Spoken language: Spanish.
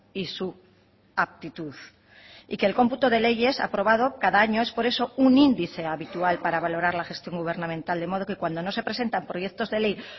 y su aptitud y que el cómputo de leyes aprobado cada año es por eso un índice habitual para valorar la gestión gubernamental de modo que cuando no se presentan proyectos de ley